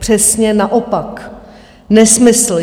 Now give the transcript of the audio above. Přesně naopak, nesmysl.